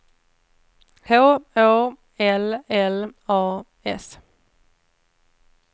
H Å L L A S